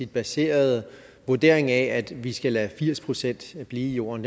baserede vurdering af at vi skal lade firs procent blive i jorden